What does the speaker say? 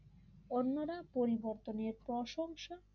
অন্যরা পরিবর্তনের প্রশংসা